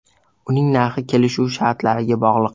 Uning narxi kelishuv shartlariga bog‘liq.